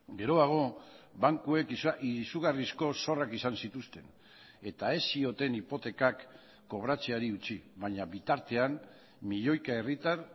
geroago bankuek izugarrizko zorrak izan zituzten eta ez zioten hipotekak kobratzeari utzi baina bitartean milioika herritar